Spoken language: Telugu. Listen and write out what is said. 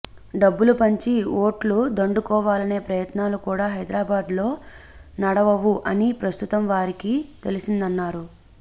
డబ్బులు పంచి ఓట్లు దండుకోవాలనే ప్రయత్నాలు కూడా హైదరాబాద్లో నడవవు అని ప్రస్తుతం వారికి తెలిసిందన్నారు